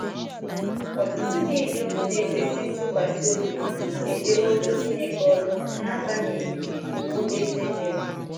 Ọtụtụ ndị inyom na - ekwesị ntụkwasị obi ejeworo Chineke oru n’agbanyeghị iwu eze nyere.